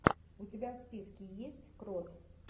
у тебя в списке есть крот